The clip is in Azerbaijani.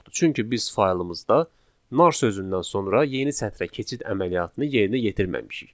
Çünki biz faylımızda nar sözündən sonra yeni sətrə keçid əməliyyatını yerinə yetirməmişik.